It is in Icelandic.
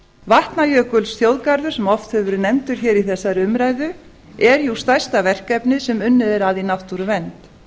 vatnajökulsþjóðgarður sem oft hefur verið nefndur hér í þessari umræðu er jú stærsta verkefnið sem unnið er að í náttúruvernd